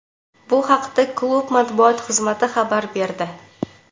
Bu haqda klub matbuot xizmati xabar berdi .